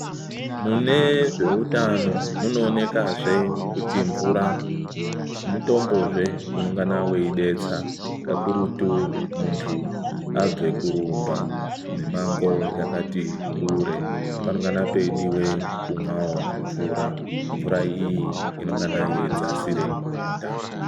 Munezveutano munoonekazve kuti mvura mutombozve unongana weidetsa, kakurutu muntu abve kurumba mimango yakatikure, panongane peidiwawo kumwe mvura, mvura iyi inengana yeidzasire nyota.